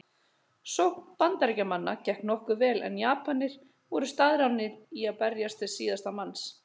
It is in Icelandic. Sókn Bandaríkjamanna gekk nokkuð vel en Japanir voru staðráðnir í að berjast til síðasta manns.